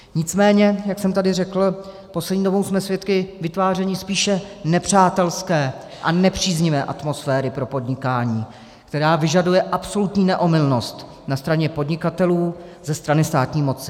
Nicméně jak jsem tady řekl, poslední dobou jsme svědky vytváření spíše nepřátelské a nepříznivé atmosféry pro podnikání, která vyžaduje absolutní neomylnost na straně podnikatelů ze strany státní moci.